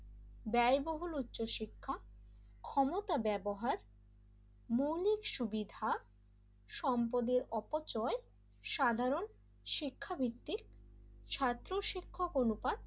ব্যয়বহুল উচ্চ শিক্ষা ক্ষমতা ব্যবহার মৌলিক সুবিধা সম্পদের অপচয় সাধারণ শিক্ষাবৃত্তির ছাত্র-শিক্ষক অনুপাত,